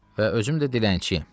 Və özüm də dilənçiyəm.